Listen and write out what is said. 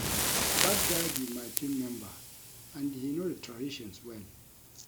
Dat guy be my team member and he know the traditions well